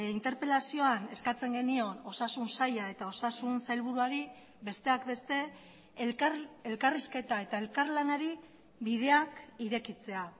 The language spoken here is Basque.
interpelazioan eskatzen genion osasun saila eta osasun sailburuari besteak beste elkarrizketa eta elkarlanari bideak irekitzea